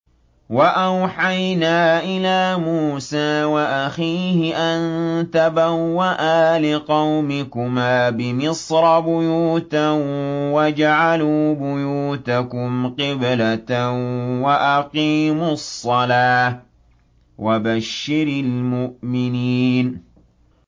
وَأَوْحَيْنَا إِلَىٰ مُوسَىٰ وَأَخِيهِ أَن تَبَوَّآ لِقَوْمِكُمَا بِمِصْرَ بُيُوتًا وَاجْعَلُوا بُيُوتَكُمْ قِبْلَةً وَأَقِيمُوا الصَّلَاةَ ۗ وَبَشِّرِ الْمُؤْمِنِينَ